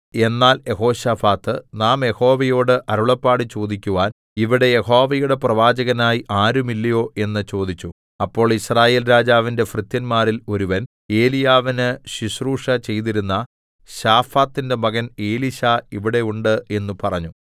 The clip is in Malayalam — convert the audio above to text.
എന്നാൽ യെഹോശാഫാത്ത് നാം യഹോവയോട് അരുളപ്പാട് ചോദിക്കുവാൻ ഇവിടെ യഹോവയുടെ പ്രവാചകനായി ആരുമില്ലയോ എന്ന് ചോദിച്ചു അപ്പോൾ യിസ്രായേൽ രാജാവിന്റെ ഭൃത്യന്മാരിൽ ഒരുവൻ ഏലീയാവിന് ശുശ്രൂഷ ചെയ്തിരുന്ന ശാഫാത്തിന്റെ മകൻ എലീശാ ഇവിടെ ഉണ്ട് എന്ന് പറഞ്ഞു